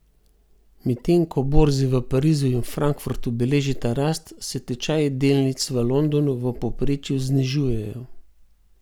Medtem ko borzi v Parizu in Frankfurtu beležita rast, se tečaji delnic v Londonu v povprečju znižujejo.